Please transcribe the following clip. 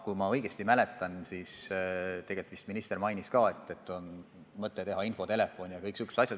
Kui ma õigesti mäletan, siis minister mainis ka, et on mõte avada infotelefon.